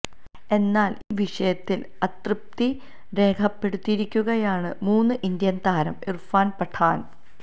എന്നാല് ഈ വിഷയത്തില് അതൃപ്തി രേഖപ്പെടുത്തിയിരിക്കുകയാണ് മുന് ഇന്ത്യന് താരം ഇര്ഫാന് പഠാന്